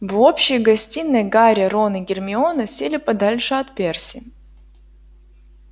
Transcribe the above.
в общей гостиной гарри рон и гермиона сели подальше от перси